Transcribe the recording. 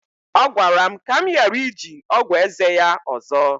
ọ gwara m ka m ghara iji ọgwụ eze ya ọzọ